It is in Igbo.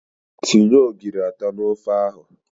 Tinye ogiri atọ n'ofe ahụ!